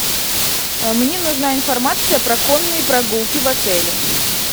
мне нужна информация про конные прогулки в отеле